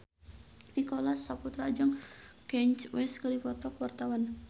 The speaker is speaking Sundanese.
Nicholas Saputra jeung Kanye West keur dipoto ku wartawan